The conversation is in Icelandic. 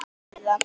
Eitt liða.